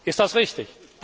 Ist das richtig?